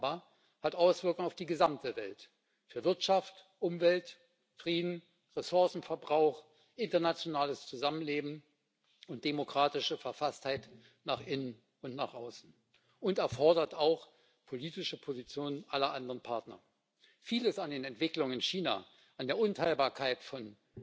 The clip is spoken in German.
Das aber hat Auswirkungen auf die gesamte Welt für Wirtschaft, Umwelt, Frieden, Ressourcenverbrauch, internationales Zusammenleben und demokratische Verfasstheit nach innen und nach außen und erfordert auch politische Positionen aller anderen Partner. Vieles an den Entwicklungen in China, an der Unteilbarkeit von